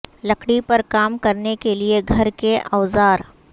لکڑی پر کام کرنے کے لئے گھر کے اوزار